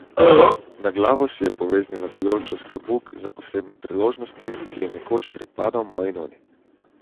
Na glavo si je poveznila vijoličast klobuk za posebne priložnosti, ki je nekoč pripadal moji noni.